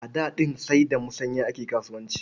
A da ɗin sai da musanya ake kasuwanci.